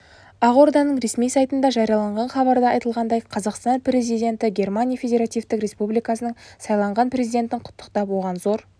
ақорданың ресми сайтында жарияланған хабарда айтылғандай қазақстан президенті германия федеративтік республикасының сайланған президентін құттықтап оған зор